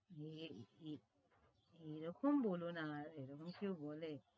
এরকম বলনা এরকম কেউ বলে